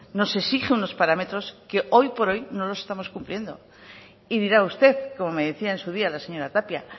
nos exige unos parámetros que hoy por hoy no los estamos cumpliendo y dirá usted como me decía en su día la señora tapia